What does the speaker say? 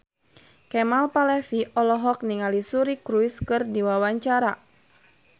Kemal Palevi olohok ningali Suri Cruise keur diwawancara